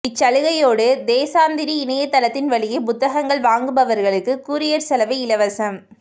இச்சலுகையோடு தேசாந்திரி இணையதளத்தின் வழியே புத்தகங்கள் வாங்குபவர்களுக்கு கூரியர் செலவு இலவசம்